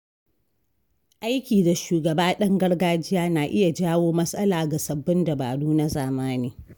Aiki da shugaba ɗan gargajiya na iya jawo matsala ga sabbin dabaru na zamani.